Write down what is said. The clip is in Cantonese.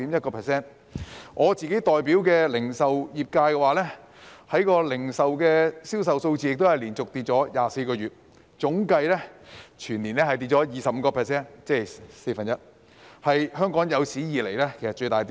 以我代表的零售業界為例，銷售數字亦24個月連續下跌，總計全年跌幅達到 25%， 是香港有史以來的最大跌幅。